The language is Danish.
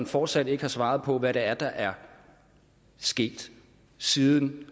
fortsat ikke har svaret på hvad det er der er sket siden